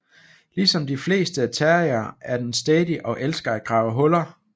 Ligesom de fleste terriere er den stædig og elsker at grave huller